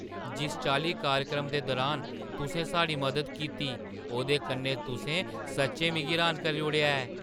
जिस चाल्ली कार्यक्रम दे दुरान तुसें साढ़ी मदद कीती, ओह्दे कन्नै तुसें सच्चैं मिगी र्‌हान करी ओड़ेआ ऐ!